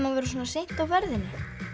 að vera svona seint á ferðinni